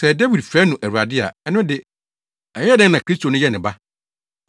Sɛ Dawid frɛ no ‘Awurade’ a, ɛno de, ɛyɛɛ dɛn na Kristo no yɛ ne ba?”